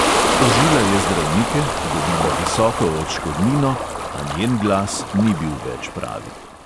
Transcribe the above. Tožila je zdravnike, dobila visoko odškodnino, a njen glas ni bil več pravi.